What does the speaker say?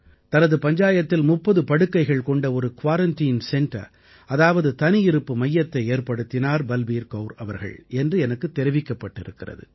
தனது பஞ்சாயத்தில் 30 படுக்கைகள் கொண்ட ஒரு குயாரன்டைன் சென்டர் அதாவது தனியிருப்பு மையத்தை ஏற்படுத்தினார் பல்பீர் கௌர் அவர்கள் என்று எனக்குத் தெரிவிக்கப்பட்டிருக்கிறது